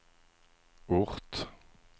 ort